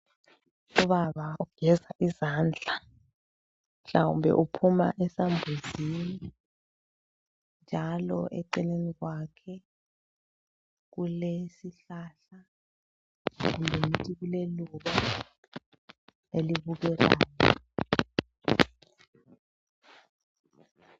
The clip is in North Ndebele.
Ubaba ugeza izandla mhlawumbe uphuma esambuzini njalo eceleni kwakhe kulesihlahla kumbe ngithi kuleluba elibukekayo.